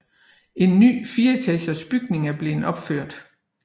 En ny 4 etagers bygning er blevet opført